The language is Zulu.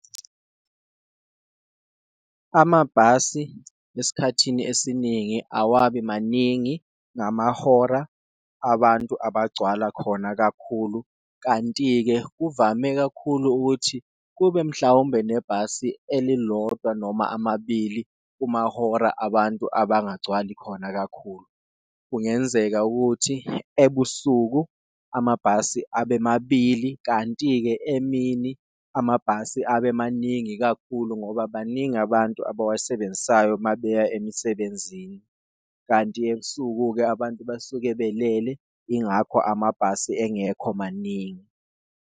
Amabhasi esikhathini esiningi awabi maningi ngamahora abantu abagcwale khona kakhulu, kanti-ke kuvame kakhulu ukuthi kube mhlawumbe nebhasi elilodwa noma amabili kumahora abantu abangagcwali khona kakhulu. Kungenzeka ukuthi ebusuku amabhasi abe mabili kanti-ke emini amabhasi abe maningi kakhulu ngoba baningi abantu abawasebenzisayo mabeya emisebenzini, kanti ebusuku-ke abantu basuke belele ingakho amabhasi engekho maningi.